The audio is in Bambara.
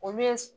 Olu ye